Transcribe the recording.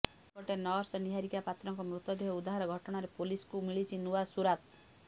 ସେପଟେ ନର୍ସ ନିହାରିକା ପାତ୍ରଙ୍କ ମୃତଦେହ ଉଦ୍ଧାର ଘଟଣାରେ ପୁଲିସ୍କୁ ମିଳିଛି ନୂଆ ସୁରାକ